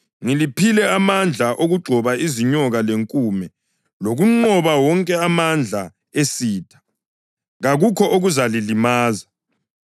Ngiliphile amandla okugxoba izinyoka lenkume lokunqoba wonke amandla esitha; kakukho okuzalilimaza.